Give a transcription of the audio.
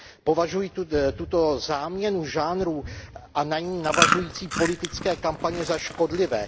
Považuji tuto záměnu žánrů a na ni navazující politické kampaně za škodlivé.